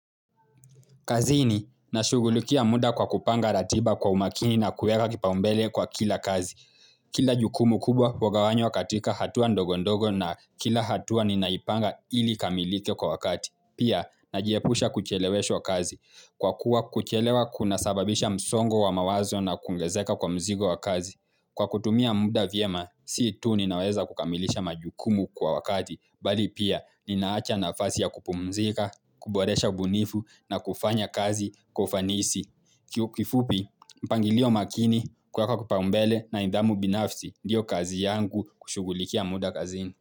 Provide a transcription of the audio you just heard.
Kazini, nashugulikia muda kwa kupanga ratiba kwa umakini na kuweka kipaumbele kwa kila kazi. Kila jukumu kubwa hugawanywa katika hatua ndogo ndogo na kila hatua ninaipanga ili ikamilike kwa wakati. Pia, najiepusha kucheleweshwa kazi. Kwa kuwa kuchelewa kuna sababisha msongo wa mawazo na kuongezeka kwa mzigo wa kazi. Kwa kutumia muda vyema, si tu ninaweza kukamilisha majukumu kwa wakati. Bali pia ninaacha nafasi ya kupumzika, kuboresha ubunifu na kufanya kazi kwa ufanisi. Kifupi, mpangilio makini kuweka kipaumbele na nidhamu binafsi ndiyo kazi yangu kushugulikia muda kazini.